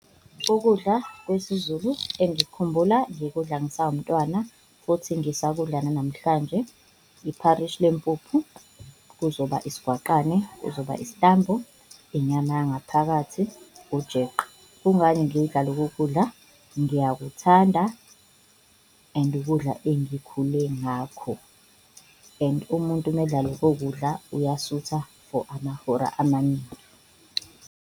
Ukudla kwesiZulu engikhumbula ngikudla ngisawumntwana futhi ngisakudla nanamhlanje, ipharishi lempuphu kuzoba isigwaqane, kuzoba isitambu, inyama yangaphakathi, ujeqe. Kungani ngidla lokho kudla? Ngiyakuthanda and ukudla enkule ngakho and umuntu umdlalo okokudla uyasutha for amahora amaningi.